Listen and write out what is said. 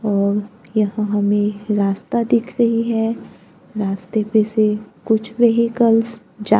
और यह हमें रास्ता दिख रही है रास्ते पे से कुछ व्हीकल्स जा--